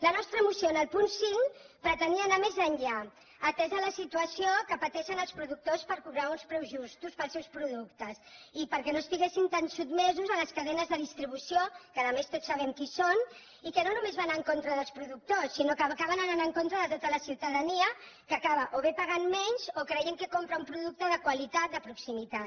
la nostra moció en el punt cinc pretenia anar més enllà atesa la situació que pateixen els productors per cobrar uns preus justos pels seus productes i perquè no estiguessin tan sotmesos a les cadenes de distribució que a més tots sabem qui són i que no només van en contra dels productors sinó que acaben anant en contra de tota la ciutadania que acaba o bé pagant menys o creient que compra un producte de qualitat de proximitat